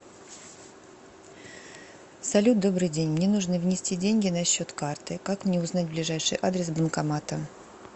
салют добрый день мне нужно внести деньги на счет карты как мне узнать ближайший адрес банкомата